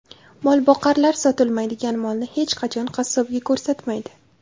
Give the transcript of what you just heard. Molboqarlar sotilmaydigan molni hech qachon qassobga ko‘rsatmaydi .